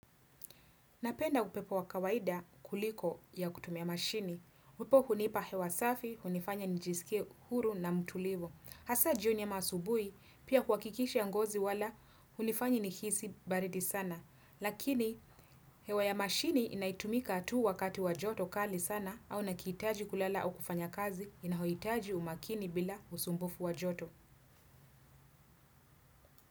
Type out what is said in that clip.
Napenda upepo wakawaida kuliko ya kutumia mashini. Wipo hunipa hewa safi, hunifanya nijisike huru na mtulivu. Hasa jioni ama asubui, pia kwa kikisha ngozi wala, hunifanyi nikisi baridi sana. Lakini, hewa ya mashini inaitumika tu wakati wajoto kali sana, au nakiitaji kulala au kufanya kazi, inahoitaji umakini bila usumbufu wajoto.